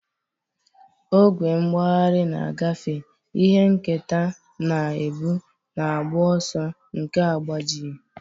Ogwe mgbagharị na-agafe, ihe nketa na-ebu, na agbụ ọsọ nke agbajighị.